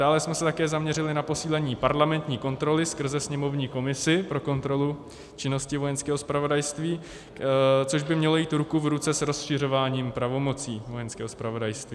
Dále jsme se také zaměřili na posílení parlamentní kontroly skrze sněmovní komisi pro kontrolu činnosti Vojenského zpravodajství, což by mělo jít ruku v ruce s rozšiřováním pravomocí Vojenského zpravodajství.